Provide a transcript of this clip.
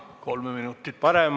Kolm minutit saab.